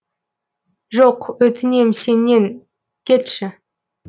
жоқ өтінем сенен кетші